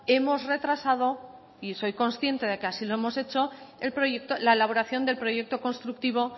hemos retrasado y soy consciente de que así lo hemos hecho la elaboración del proyecto constructivo